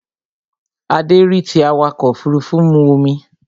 Adé rí tí awakọ̀ òfurufú mu omi